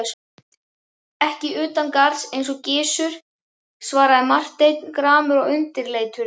Ekki utangarðs eins og Gizur, svaraði Marteinn gramur og undirleitur.